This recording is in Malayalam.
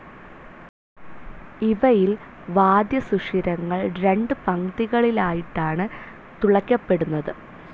ഇവയിൽ വാദ്യസുഷിരങ്ങൾ രണ്ടു പംക്തികളിലായിട്ടാണ് തുളയ്ക്കപ്പെടുന്നത്.